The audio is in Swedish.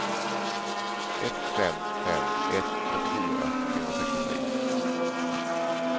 ett fem fem ett trettiofyra trehundrasextiotre